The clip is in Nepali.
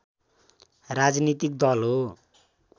राजनीतिक दल हो